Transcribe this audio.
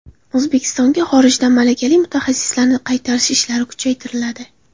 O‘zbekistonga xorijdan malakali mutaxassislarni qaytarish ishlari kuchaytiriladi.